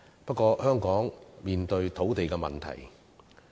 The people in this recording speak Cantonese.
不過，香港現正面對土地問題。